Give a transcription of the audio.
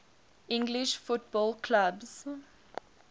english football clubs